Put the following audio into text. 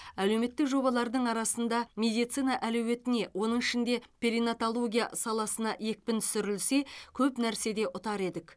әлеуметтік жобалардың арасында медицина әлеуетіне оның ішінде перинаталогия саласына екпін түсірілсе көп нәрседе ұтар едік